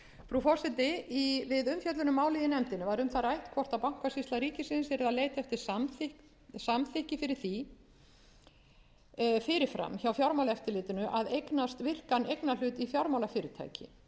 frú forseti við umfjöllun um málið í nefndinni var um það rætt hvort bankasýsla ríkisins yrði að leita eftir samþykki fyrir því fyrir fram hjá fjármálaeftirlitinu að eignast virkan eignarhlut í fjármálafyrirtæki